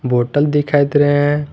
Hotel दिखाई दे रहे हैं।